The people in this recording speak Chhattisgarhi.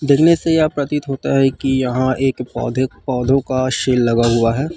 देखने से यह प्रतीत होता है की यहाँ एक पौधे पौधों का सेल लगा हुआ है।